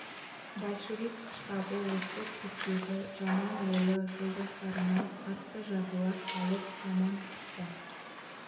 большевик штабы осы түрдегі жаман ойлы жолдастарына қатты жазалар салып жаман қысты